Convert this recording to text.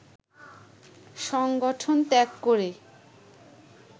সংগঠন ত্যাগ করে